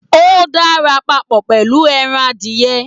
O dára papọ pẹlú ẹran adiyẹ́.